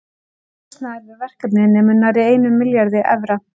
Heildarkostnaður við verkefnið nemur nærri einum milljarði evra.